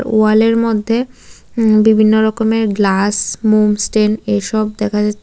ওয়ালের মধ্যে উ বিভিন্ন রকমের গ্লাস মোম স্ট্যান্ড এইসব দেখা যাচ্ছে।